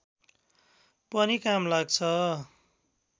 पनि काम लाग्छ